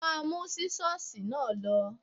Má mú Sísọ́sìì náà lọ.